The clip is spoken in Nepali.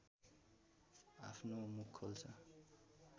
आफ्नो मुख खोल्छ